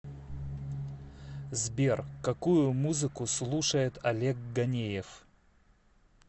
сбер какую музыку слушает олег ганеев